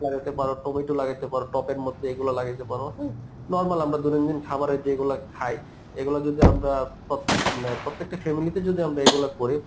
লাগাইতে পারো টমেটো লাগাইতে পারো টপের মধ্যে এইগুলা লাগাইতে পারো হম, normal আমরা দৈনন্দিন খাবারের যেইগুলা খাই এগুলা যদি আমরা প্রত্যে~ মানে প্রত্যেকটা family তে যদি আমরা এগুলা করি